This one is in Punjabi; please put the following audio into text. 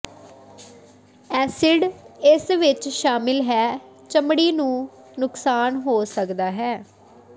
ਐਸਿਡ ਇਸ ਵਿੱਚ ਸ਼ਾਮਿਲ ਹੈ ਚਮੜੀ ਨੂੰ ਨੁਕਸਾਨ ਹੋ ਸਕਦਾ ਹੈ